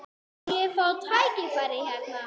Mun ég fá tækifæri hérna?